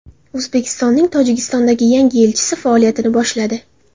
O‘zbekistonning Tojikistondagi yangi elchisi faoliyatini boshladi.